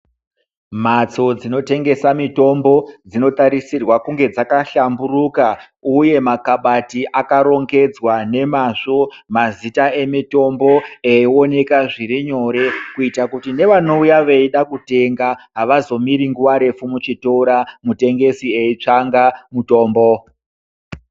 Mhatso dzinotengesa mitombo, dzinotarisirwa kunge dzakahlamburuka, uye makhabati aka rongedzwa nemazvo. Mazita emitombo eyiwoneka zvirinyore, kuyita kuti nevanowuya veyida kutenga, havazomiri nguva refu muchitora, mutengesi eyitsvanga mutombo.